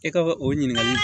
E ka o ɲininkali